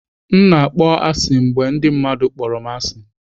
M na-akpọ asị mgbe ndị mmadụ kpọrọ m asị.